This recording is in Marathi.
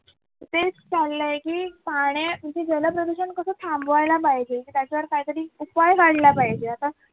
तेच चाललंय की पाहणे म्हणजे जल प्रदूषण कस थांबवायला पाहिजे त्याच्यावर काही तरी उपाय काढला पाहिजे आता